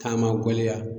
K'a ma waleya